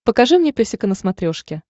покажи мне песика на смотрешке